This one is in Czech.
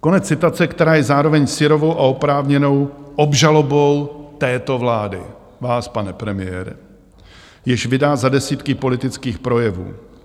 Konec citace, která je zároveň syrovou a oprávněnou obžalobou této vlády, vás, pane premiére, jež vydá za desítky politických projevů.